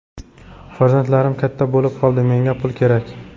Farzandlarim katta bo‘lib qoldi, menga pul kerak”.